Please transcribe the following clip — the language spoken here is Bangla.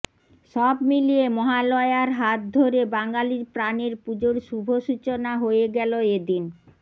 সব মিলিয়ে মহালয়ার হাত ধরে বাঙালির প্রাণের পুজোর শুভ সূচনা হয়ে গেল এদিন